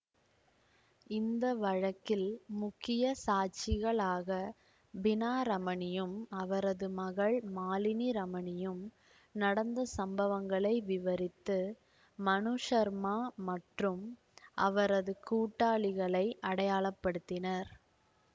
இந்த வழக்கில் முக்கிய சாட்சிகளாக பினா ரமனியும் அவரது மகள் மாலினி ரமனியும் நடந்த சம்பவங்களை விவரித்து மனு சர்மா மற்றும் அவரது கூட்டாளிகளை அடையாளப்படுத்தினர்